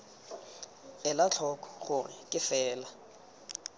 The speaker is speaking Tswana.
ela tlhoko gore ke fela